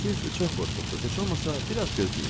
Siz çox qorxursunuz, heç olmasa biraz gözləyin.